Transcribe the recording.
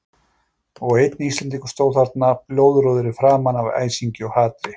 Og einn Íslendingur stóð þarna, blóðrjóður í framan af æsingi og hatri.